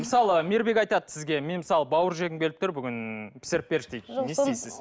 мысалы мейірбек айтады сізге мен мысалы бауыр жегім келіп тұр бүгін пісіріп берші дейді